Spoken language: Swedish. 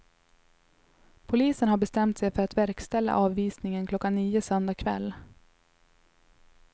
Polisen har bestämt sig för att verkställa avvisningen klockan nio söndag kväll.